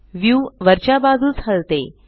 view वरच्या बाजूस हलते